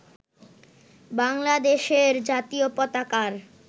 বাংলাদেশের জাতীয় পতাকার